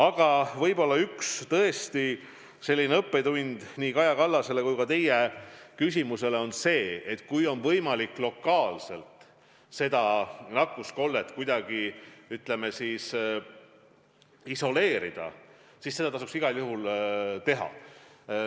Aga võib-olla üks õppetund on see – ma vastan nii Kaja Kallase kui ka teie küsimusele –, et kui on võimalik lokaalselt nakkuskoldeid kuidagi isoleerida, siis seda tasub igal juhul teha.